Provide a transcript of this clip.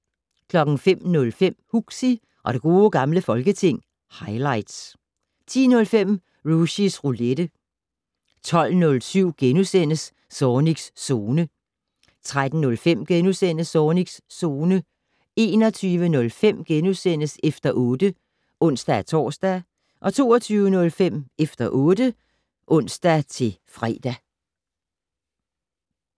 05:05: Huxi og det gode gamle folketing - highlights 10:05: Rushys Roulette 12:07: Zornigs Zone * 13:05: Zornigs Zone * 21:05: Efter 8 *(ons-tor) 22:05: Efter 8 (ons-fre)